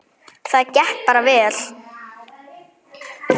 Það gekk bara vel.